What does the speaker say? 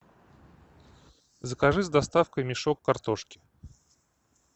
закажи с доставкой мешок картошки